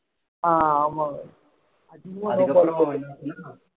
ஆஹ் ஆமா அதுக்கு அப்புறம் என்னாச்சுன்னா